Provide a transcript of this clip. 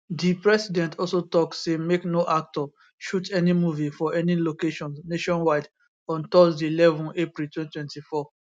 di president also tok say make no actor shoot any movie for any locations nationwide on thursday eleven april 2024